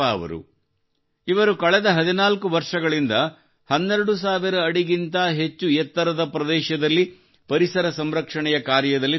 ಇವರು ಕಳೆದ 14 ವರ್ಷಗಳಿಂದ 12000 ಅಡಿಗಿಂತ ಹೆಚ್ಚು ಎತ್ತರದ ಪ್ರದೇಶದಲ್ಲಿ ಪರಿಸರ ಸಂರಕ್ಷಣೆಯ ಕಾರ್ಯದಲ್ಲಿ ತೊಡಗಿಕೊಂಡಿದ್ದಾರೆ